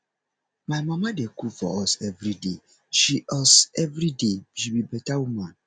my mama dey cook for us everyday she us everyday she be beta woman